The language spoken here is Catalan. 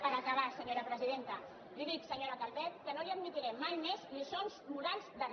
per acabar senyora presidenta li dic senyora calvet que no li admetré mai més lliçons morals de re